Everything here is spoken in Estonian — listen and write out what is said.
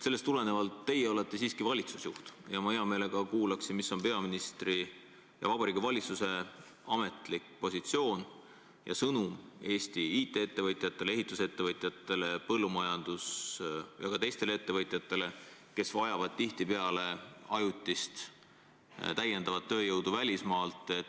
" Teie olete siiski valitsusjuht ja ma hea meelega kuulaksin, mis on peaministri ja Vabariigi Valitsuse ametlik positsioon ja sõnum Eesti IT-ettevõtjatele, ehitusettevõtjatele, põllumajandus- ja ka teistele ettevõtjatele, kes vajavad tihtipeale ajutist täiendavat tööjõudu välismaalt.